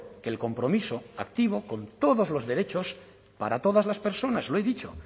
que el compromiso activo con todos los derechos para todas las personas lo he dicho